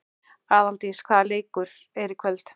Aðaldís, hvaða leikir eru í kvöld?